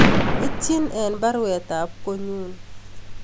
Ityin en baruet ab konyun